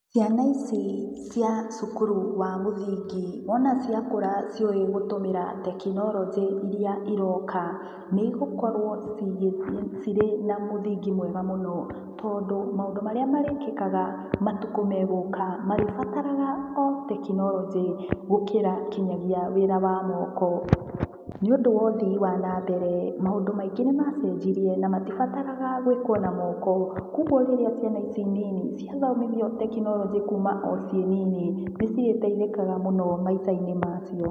Ciana ici cĩa cukuru wa mũthingi wona ciakũra ciũĩ gũtũmĩra tekinoronjĩ iria ĩroka nĩ ĩgũkorwo cirĩ na mũthingi mwega mũno tondũ maũndũ marĩa marĩkĩkaga matukũ megũka marĩbataraga o tekinoronji gũkĩra nginyagia wĩra wa mũko. Nĩ ũndũ wa ũthiĩ wa nambere maũndũ maingĩ nĩ macenjirĩe na matibataraga gwikwo na mũko. Kwoguo rĩrĩa ciana ici nini ciathomithio tekinoronji kuma ũ ciĩ nini nĩ cirĩteithikaga mũno maicainĩ macio.